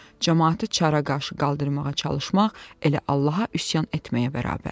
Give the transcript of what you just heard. camaatı çara qarşı qaldırmağa çalışmaq elə Allaha üsyan etməyə bərabərdir.